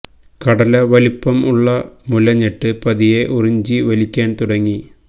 കടല വലുപ്പം ഉള്ള മുല ഞെട്ട് പതിയെ ഉറിഞ്ചി വലിക്കാൻ തുടങ്ങി